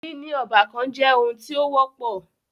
Níní ọ́bàkan jẹ́ oun tí o wọ́pọ̀.